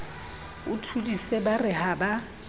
thodise ba re ha ba